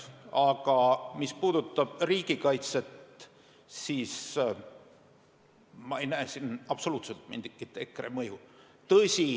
Aga mis puudutab riigikaitset, siis ma ei näe siin absoluutselt mingitki EKRE mõju.